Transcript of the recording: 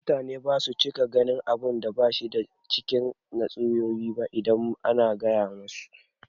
Mutane basu cika ganin abunda bashi ba a cikin tatsuniyoyi idan ana gaya musu